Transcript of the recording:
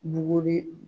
Buguri